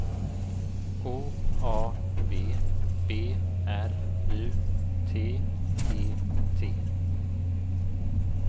O A V B R U T E T